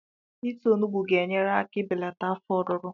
Ịta onugbu ga-enyere aka ibelata afọ ọruru